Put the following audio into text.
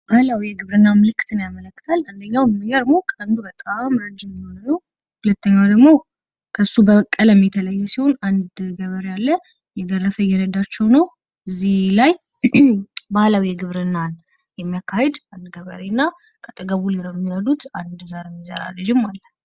ባህላዊ የግብርና ምልክትን ያመለክታል። አንደኛው የሚገርመው ቀንዱ በጣም ረጅም የሆነው። ሁለተኛው ደግሞ ከእሱ በቀለም የተለየ ሲሆን። አንድ ገበያ አለ እየገረፈ እየረዳቸው ነው እዚህ ላይ። ባህላዊ የግብርናን የሚያካሂድ አንድ ገበሬና ከአጠገቡ የሚረዱት አንድ ዘር የሚዘራ ልጅም አለ።